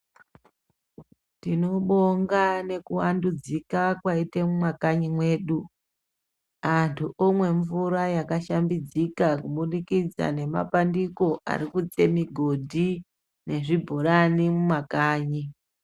Tinobonga nekuvandudzika kwaita mumakanyi medu antu omwa mvura yakashambidzika kubudikidza nemabandiko arikutse migodhi nezvibhorani mumakanyi .